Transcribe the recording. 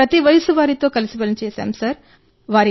మేము ప్రతి వయస్సు వారితో కలిసి పనిచేశాం సార్